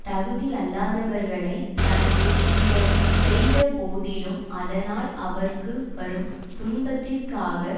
தகுதி அல்லாதவர்களை தனக்கு பிறர் செய்த போதிலும் அதனால் அவர்க்கு வரும் துன்பத்திற்காக